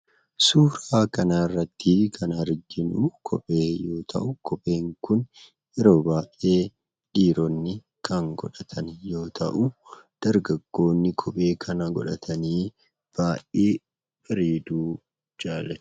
Suuraa kanarratti kan arginu kophee yoo ta'u, kopheen kun yeroo baay'ee kan godhatan yoo ta'u dargaggoonni kophee kana godhatan baay'ee bareedu.